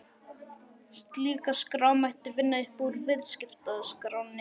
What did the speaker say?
Slíka skrá mætti vinna upp úr Viðskiptaskránni